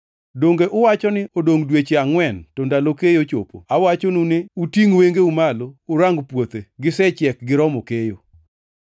Donge uwacho ni, ‘Odongʼ dweche angʼwen to ndalo keyo chopo’? Awachonu ni utingʼ wengeu malo urang puothe! Gisechiek giromo keyo.